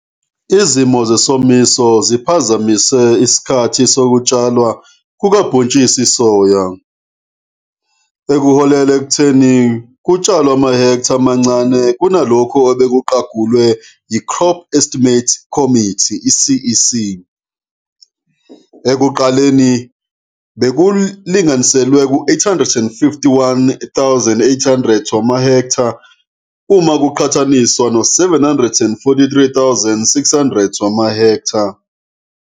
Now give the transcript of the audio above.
Izimo zesomiso ziphazamise isikhathi sokutshalwa kukabhontshisi isoya, okuholele ekutheni kutshalwe amahektha amancane kunalokho obekuqagulwe yi-Crop Estimates Committee, i-CEC ekuqaleni bekulinganiselwe ku-851 800 wamahektha uma kuqhathaniswa no-743 600 wamahektha.